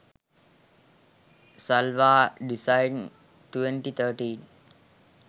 salwar design 2013